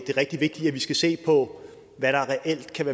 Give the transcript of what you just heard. på